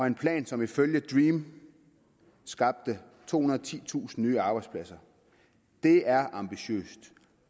en plan som ifølge dream skabte tohundrede og titusind nye arbejdspladser det er ambitiøst